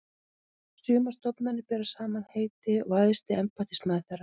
Sumar stofnanir bera sama heiti og æðsti embættismaður þeirra.